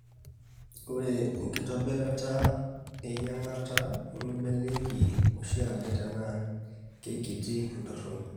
Ore enkitobirata eyieng'ata nemeibalieki oshiake tenaa keikiti entoroni.